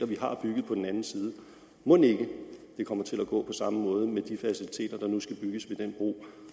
vi har bygget på den anden side mon ikke det kommer til at gå på samme måde med de faciliteter der nu skal bygges ved den bro